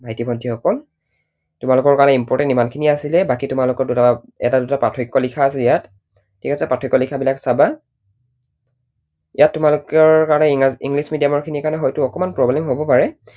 ভাইটি ভণ্টি সকল তোমালোকৰ কাৰণে important ইমানখিনিয়েই আছিলে। বাকী তোমালোকৰ এটা দুটা পাৰ্থক্য লিখা আছে ইয়াত। ঠিক আছে, পাৰ্থক্য লিখা বিলাক চাবা। ইয়াত তোমালোকৰ কাৰণে english medium ৰ খিনিৰ কাৰণে হয়তো অকণমান problem হব পাৰে